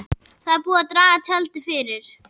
Það er búið að draga tjaldið fyrir.